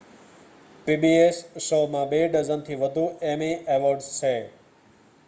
pbs શો માં બે ડઝન થી વધુ એમી અવોર્ડ્સ છે